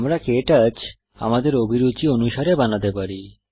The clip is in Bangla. আমরা কে টচ আমাদের অভিরুচি অনুসারে বানাতে পারি